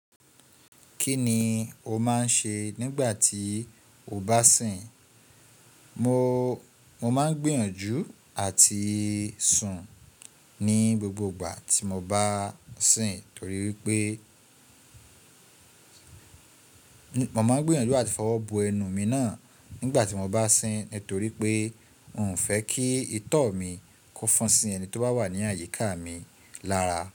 Kí ni o máa ń ṣe nígbà tí o bá sìn? Mo, mo máa ń gbìyànjú àti sùn ní gbogbo ìgbà tí mo bá sìn torí wipé, mo máa ń gbìyànjú áti fọwọ́ bo ẹnu mi náà nígbà tí mo bá sìn nitorí pé n fẹ́ kí itọ́ mi kó fọn sí ẹni tí ó bá wà ní àyíká mi lára.